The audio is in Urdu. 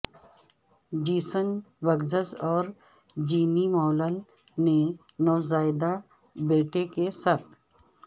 جیسن بگزس اور جینی مولل نے نوزائیدہ بیٹے کے ساتھ